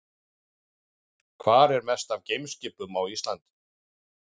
Hvar er mest af geimskipum á Íslandi?